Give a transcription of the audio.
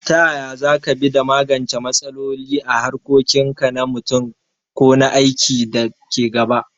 Ta yaya za ka bi da magance matsaloli a harkokin ka na mutum ko na aiki da ke gaba?